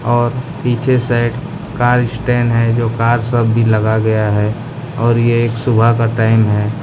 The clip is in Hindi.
और पीछे साइड कार स्टैन है जो कार सब भी लगा गया है और ये एक सुबह का टाइम है।